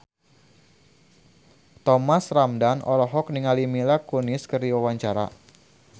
Thomas Ramdhan olohok ningali Mila Kunis keur diwawancara